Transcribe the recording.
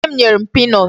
Nne m nyere m peanut.